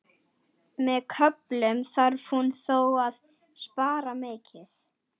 Með köflum þarf hún þó að spara mikið.